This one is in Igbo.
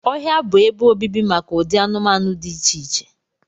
Ọhịa bụ ebe obibi maka ụdị anụmanụ dị iche iche